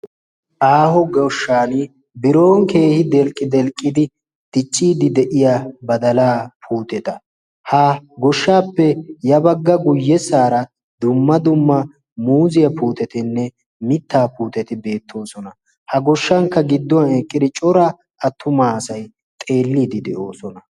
Aaho goshshan biron keehi delqqi delqqidi ticciidi de'iya badalaa puuteta ha goshshaappe yabagga guyyessaara dumma dumma muuziyaa puutetinne mittaa puuteti beettoosona. ha goshshankka gidduwan eqqidi cora attumaa asai xeelliidi de'oosona.